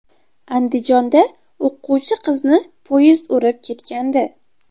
Andijonda o‘quvchi qizni poyezd urib ketgandi.